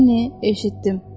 Linni eşitdim.